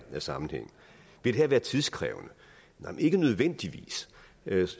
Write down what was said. sammenhæng vil det her være tidskrævende nej ikke nødvendigvis